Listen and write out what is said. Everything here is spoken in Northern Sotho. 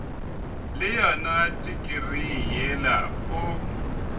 le yona tikirii yela o